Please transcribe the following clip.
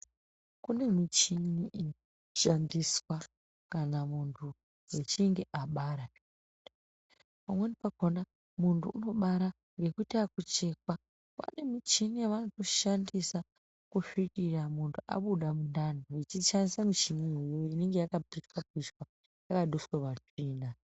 Kune muchini inoshandiswa kana muntu echinge abara. Pamweni pakona muntu unobara ngekuita yakuchekwa vane muchini yavanotoshandisa kusvikiya munhu abuda mundani vechishandisa michini iyoyo inenge yakapinganiswa, yakaduswa ...